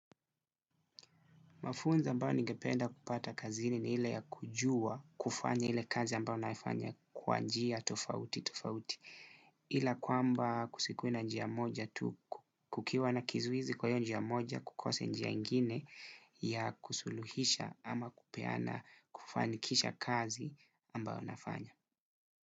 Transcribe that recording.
Mafunzo ambao ningependa kupata kazini ni ile ya kujua kufanya ile kazi ambao naifanya kwa njia tofauti tofauti. Ila kwamba kusikue na njia moja tu kukiwa na kizuizi kwa io njia moja hakukosi njia ingine ya kusuluhisha ama kupeana kufanikisha kazi ambayo nafanya.